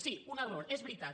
sí un error és veritat